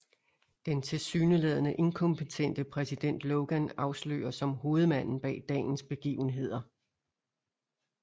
Den tilsyneladende inkompetente præsident Logan afsløres som hovedmanden bag dagens begivenheder